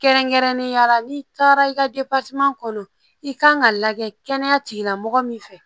Kɛrɛnkɛrɛnnenya la n'i taara i ka kɔnɔ i ka kan ka lajɛ kɛnɛya tigila mɔgɔ min fɛ